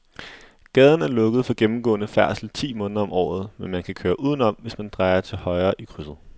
Gaden er lukket for gennemgående færdsel ti måneder om året, men man kan køre udenom, hvis man drejer til højre i krydset.